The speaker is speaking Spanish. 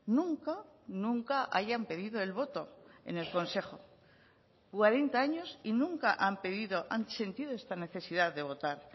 nunca nunca hayan pedido el voto en el consejo cuarenta años y nunca han pedido han sentido esta necesidad de votar